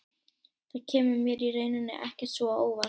Það kemur mér í rauninni ekkert svo á óvart.